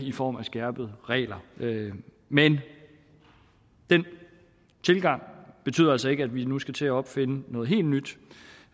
i form af skærpede regler men den tilgang betyder altså ikke at vi nu skal til at opfinde noget helt nyt